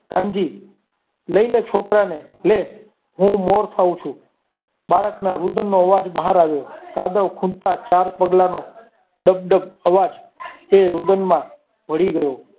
કાનજી લઈ લે છોકરાને લે હું મોત થાવ છું બાળકના રુદન નો અવાજ બહાર આવ્યો કાદવખુંચતા ચાર પગલાનો ડગ ડગ અવાજ તે રુદનમાં ભળી ગયો.